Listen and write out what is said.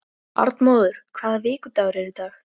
Arnmóður, hvaða vikudagur er í dag?